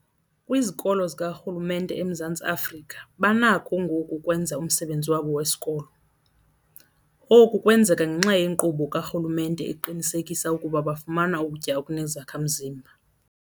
Kwizikolo zikarhulumente eMzantsi Afrika banakho ngoku ukwenza umsebenzi wabo wesikolo. Oku kwenzeka ngenxa yenkqubo karhulumente eqinisekisa ukuba bafumana ukutya okunezakha-mzimba.